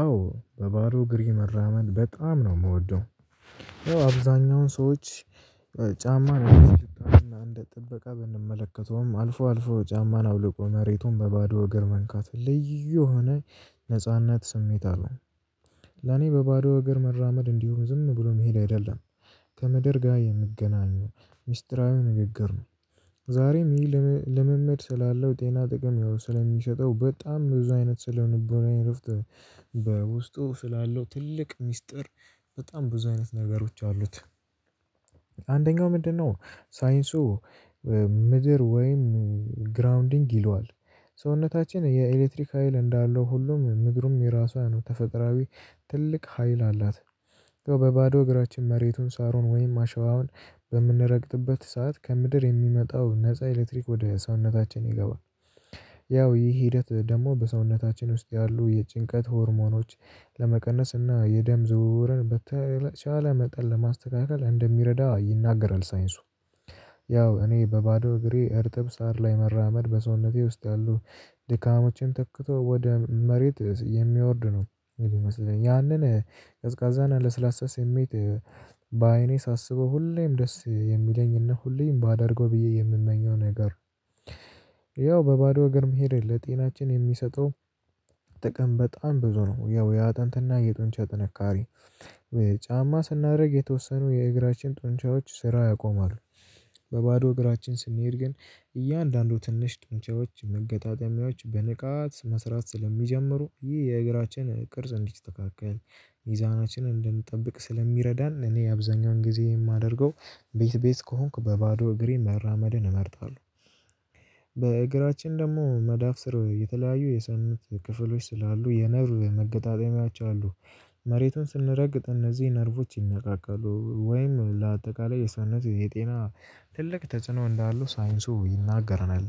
አዎ በባዶ እግረ መራመድ በጣም ነው የምወደው። አብዛኛውን ሰዎች ጫማ አንድ ጥበቃ ብንመለከተውም አልፎ አልፎ ጫማን አውልቆ መሬቱን በባዶ እግር መንካት ልዩ የሆነ ነጻነት ስሜት አለው። ለኔ በባዶ እግር መራመድ እንዲሆን ዝም ብሎ መሄድ አይደለም ከመደር ጋር የምገናኙ ሚስጥራዊ ንግግር ነው። ዛሬም ይህ ልምምድ ስላለው ጤና ጥቅም ያው ስለሚሸጠው በጣም ብዙ አይነት ስለምንቦናዬ እረፍት በውስጡ ስላለው ትልቅ ሚስጥር በጣም ብዙ አይነት ነገሮች አሉት። አንደኛው ምንድነው? ሳይንሱ ምድር ወይም ግራውንዲንግ ይለዋል ሰውነታችን የኤሌክትሪክ ሀይል እንዳለው ሁሉም ምድሩም የራሷ ነው ተፈጥራዊ ትልቅ ሀይል አላት። በባዶ እግራችን መሬቱን ሳሩን ወይም አሸባውን በምንረግጥበት ሰዓት ከምድር የሚመጣው ነፃ ኤሌክትሪክ ወደ ሰውነታችን ይገባል። ያው ይህ ሂደት ደግሞ በሰውነታችን ውስጥ ያሉ የጭንቀት ሆርሞኖች ለመቀነስ እና የደም ዝውውርን በተቻለ መጠን ለማስተካከል እንደሚረዳ ይናገራል ሳይንሱ። ያው እኔ በባዶ እግሬ እርጥብ ሳር ላይ መራመድ በሰውነቴ ውስጥ ያሉ ድካሞችን ተክቶ ወደ መሬት የሚወርድ ነው። ያንን ቀዝቃዛና ለስላሳ ስሜት በአይኔ ሳስበው ሁሌም ደስ የሚለኝ እነ ሁሌም ባደርገው ብዬ የምመኘው ነገር። ያው በባዶ ሀገር መሄድ ለጤናችን የሚሰጠው ጥቅም በጣም ብዙ ነው። ያው የአጥንትና የጡንቻ ጥንካሬ ጫማ ስናደርግ የተወሰኑ የእግራችን ጡንቻዎች ስራ ያቆማሉ። በባዶ እግራችን ስንሄድ ግን እያንዳንዱ ትንሽ ጥንቻዎች መገጣጠሚያዎች በንቃት መስራት ስለሚጀምሩ ይህ የእግራችን ቅርጽ እንዲስተካከል ሚዛናችንን እንድንጠብቅ ስለሚረዳን። እኔ አብዛኛውን ጊዜ የማደርገው ቤት ቤት ከሆንኩ በባዶ እግሬን መራመድን እመርጣለሁ። በእግራችን ደግሞ መዳፍ ስር የተለያዩ የሰንት ክፍሎች ስላሉ የነርቭ መገጣጠሚያቸው አሉ። መሬቱን ስንረግጥ እነዚህ ነርቮች ይነቃቃሉ ወይም ለአጠቃላይ የሰውነት የጤና ትልቅ ተጽዕኖ እንዳለው ሳይንሱ ይናገረናል።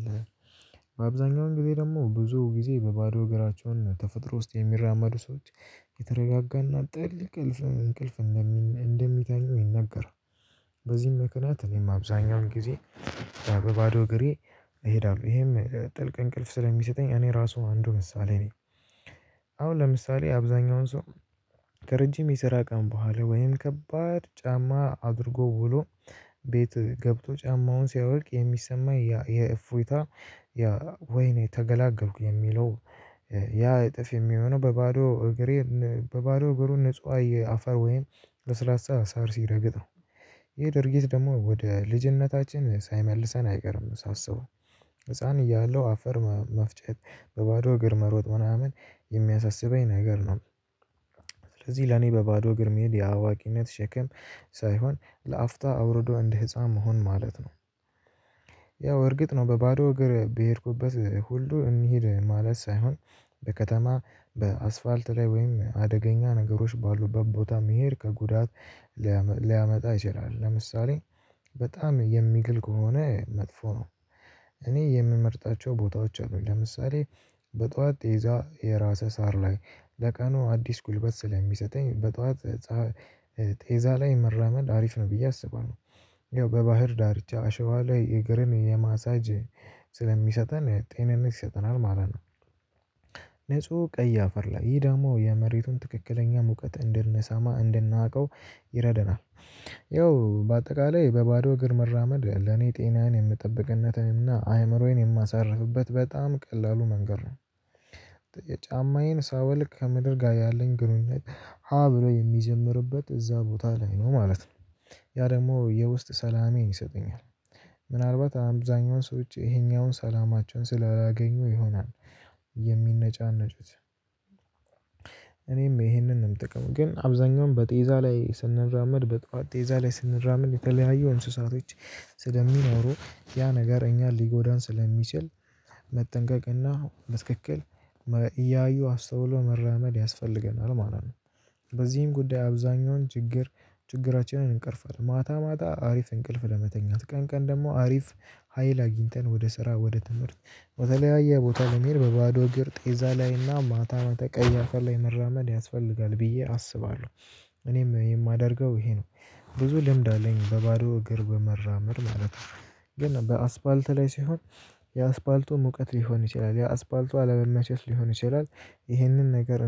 በአብዛኛው ጊዜ ደግሞ ብዙ ጊዜ በባዶ እግራቸውን ተፈጥሮ ውስጥ የሚራመዱ ሰዎች የተረጋጋና ጥልቅ እንቅልፍ። እንደምተኙ ይነገራል። በዚህም ምክንያት እኔም አብዛኛውን ጊዜ በባዶ እግሬ እሄዳለሁ ይሄም ጥልቅ እንቅልፍ ስለሚሰጠኝ እኔ ራሱ አንዱ ምሳሌ ነኝ። አሁን ለምሳሌ አብዛኛውን ሰው ከረጅም የሰራ ቀን በኋላ ወይም ከባድ ጫማ አድርጎ ውሎ ቤት ገብቶ ጫማውን ሲያወልቅ የሚሰማኝ የእፎይታ ወይኔ ተገላገልኩ የሚለው ያ እጥፍ የሚሆነው በባዶ እግሬ በባዶ ብሩን ንጹሃዊ አፈር ወይም በስራ ሳር ሲረግጥ ነው። ይሄ ድርጊት ደግሞ ወደ ልጅነታችን ሳይመልሰን አይቀርም ሳስበው ህፃን እያለው አፈር መፍጨት በባዶ እግር መሮጥ ምናምን የሚያሳስበኝ ነገር ነው። ስለዚህ ለኔ በባዶ እግር መሄድ የአዋቂነት ሸክም ሳይሆን ለአፍታ አውርዶ እንደ ህፃን መሆን ማለት ነው። ያው እርግጥ ነው በባዶ እግር በሄድኩበት ሁሉ እንሂድ ማለት ሳይሆን በከተማ በአስፋልት ላይ ወይም አደገኛ ነገሮች ባሉበት ቦታ መሄድ ከጉዳት ሊያመጣ ይችላል። ለምሳሌ በጣም የሚግል ከሆነ መጥፎ ነው። እኔ የምመርጣቸው ቦታዎች አሉኝ። ለምሳሌ በጧት የይዛ የራሰ ሳር ላይ ለቀኑ አዲስ ጉልበት ስለሚሰጠኝ በጧት ቴዛ ላይ መራመድ አሪፍ ነው ብዬ አስባለሁ። ያው በባህር ዳርቻ አሸባ ላይ የእግርን የማሳጅ ስለሚሰጠን ጤንነት ይሰጠናል ማለት ነው። ነጹህ ቀይ አፈር ላይ ይሄ ደግሞ የመሬቱን ትክክለኛ ሙቀት እንድንሰማ እንድናውቀው። ይኸው በአጠቃላይ በባዶ እግር መራመድ ለኔ ጤናን የምጠብቅነትን እና አእምሮዬን የማሳርፍበት በጣም ቀላሉ መንገድ ነው። ጫማዬን ሳወልቅ ከምድር ጋር ያለኝ ግንኙነት ሀ ብሎ የሚጀምርበት እዛ ቦታ ላይ ነው ማለት ነው። ያ ደግሞ የውስጥ ሰላሜን ይሰጡኛል። ምናልባት አብዛኛውን ሰዎች ይሄኛውን ሰላማቸውን ስላላገኙ ይሆናል። የሚነጫነጩት። እኔም ይሄንንም ጥቅም ግን አብዛኛውን በጤዛ ላይ ስንራመድ በጧት ጤዛ ላይ ስንራመድ የተለያየው እንስሳቶች ስለሚኖሩ ያ ነገር እንጃን ሊጎዳን ስለሚችል መጠንቀቅና በትክክል እያዩ አስተውሎ መራመድ ያስፈልገናል ማለት ነው። በዚህም ጉዳይ አብዛኛውን ችግር ችግራችንን እንቀርፋለን ማታ ማታ አሪፍ እንቅልፍ ለመተኛት ቀን ቀን ደግሞ አሪፍ። ሀይል አግኝተን ወደ ስራ ወደ ትምህርት በተለያየ ቦታ ልሄድ በባዶ እግር ጤዛ ላይና ማታ መታ ቀይ አፈር ላይ መራመድ ያስፈልጋል ብዬ አስባለሁ። እኔም የማደርገው ይሄ ነው። ብዙ ልምድ አለኝ በባዶ እግር በመራመር ማለት ነው። ግን በአስፋልት ላይ ሲሆን የአስፋልቱ ሙቀት ሊሆን ይችላል የአስፋልቱ አለመመቸት ሊሆን ይችላል። ይህንን ነገር